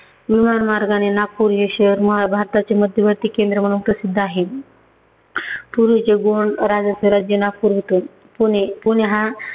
लोह मार्गाने नागपूर हे शहर मा भारताचे मध्यवर्ती केंद्र म्हणून प्रसिद्ध आहे. पूर्वीचे गोंद राजाचं राज्य नागपूर होतं. पुणे- पुणे हा